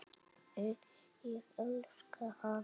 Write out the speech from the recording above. En ég elska hana.